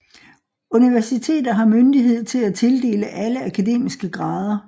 Universiteter har myndighed til at tildele alle akademiske grader